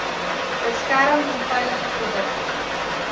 beskerm onveilige produkte